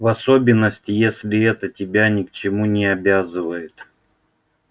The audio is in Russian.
в особенности если это тебя ни к чему не обязывает